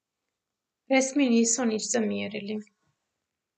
Res mi niso nič zamerili.